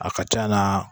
A ka ca na